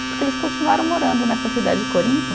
Porque eles continuaram morando nessa cidade de Corinto.